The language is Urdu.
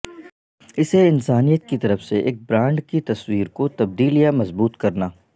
اسے انسانیت کی طرف سے ایک برانڈ کی تصویر کو تبدیل یا مضبوط کرنا